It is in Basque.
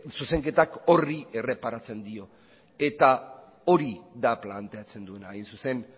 zuzenketak horri erreparatzen dio eta hori da planteatzen duena hain zuzen